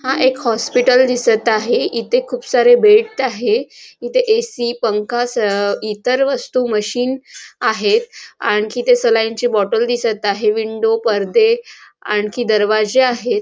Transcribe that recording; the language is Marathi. हा एक हॉस्पिटल दिसत आहे इथे खूप सारे बेड आहे इथे ए.सी. पंखा स इतर वस्तू मशीन आहेत आणखी ते सलाइन ची बॉटल दिसत आहे विंडो परदे आणखी दरवाजे आहेत.